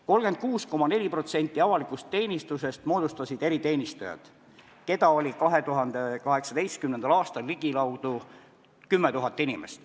36,4% avalikust teenistusest moodustasid eriteenistujad, keda oli 2018. aastal ligikaudu 10 000 inimest.